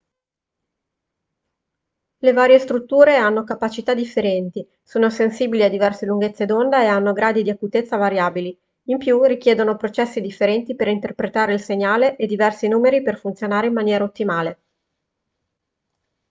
le varie strutture hanno capacità differenti sono sensibili a diverse lunghezze d'onda e hanno gradi di acutezza variabili in più richiedono processi differenti per interpretare il segnale e diversi numeri per funzionare in maniera ottimale